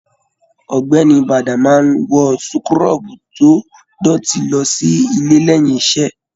Ọ̀gbẹ́ni Bada máa n wọ súkúrọbuù to dótì lọ sílé lẹyìn iṣẹ.